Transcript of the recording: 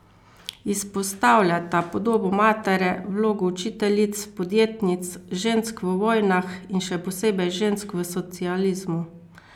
Izpostavljata podobo matere, vlogo učiteljic, podjetnic, žensk v vojnah in še posebej žensk v socializmu.